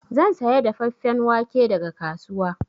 Zan saya dafeffen wake daga kasuwa.